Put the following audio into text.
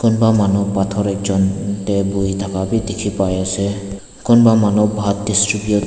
Kunba manu pathor ekjun dae buhinuh dae thaka bhi dekhe pai ase kunba phat distribute --